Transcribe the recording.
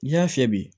N'i y'a fiyɛ bi